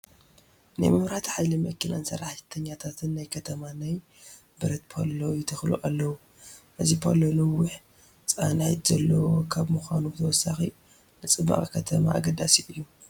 ናይ መብራህቲ ሓይሊ መኪናን ሰራሕተኛታትን ናይ ከተማ ናይ ብረት ፓሎ ይተኽሉ ኣለዉ፡፡ እዚ ፓሎ ነዊሕ ፃንቲ ዘለዎ ካብ ምዃኑ ብተወሳኺ ንፅባቐ ከተማ ኣገዳሲ እዩ፡፡